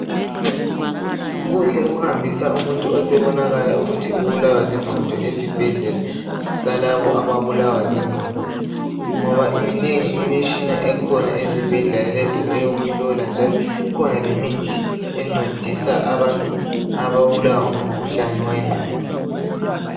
Kuhle ukuhambisa umuntu osebonakala ukuthi ubulawa zingqondo esibhedlela salabo ababulawa zingqondo ngoba iminengi imitshina ekhona ezibhedlela lezi eyokuhlola njalo ikhona lemithi encedisa ababulawa ngumkhuhlane wengqondo.